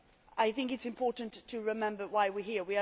I think it is important to remember why we are here.